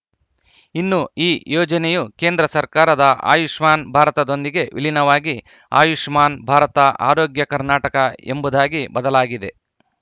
ಇನ್ನು ಈ ಯೋಜನೆಯು ಕೇಂದ್ರ ಸರ್ಕಾರದ ಆಯುಷ್ಮಾನ್‌ ಭಾರತದೊಂದಿಗೆ ವಿಲೀನವಾಗಿ ಆಯುಷ್ಮಾನ್‌ ಭಾರತಆರೋಗ್ಯ ಕರ್ನಾಟಕ ಎಂಬುದಾಗಿ ಬದಲಾಗಲಿದೆ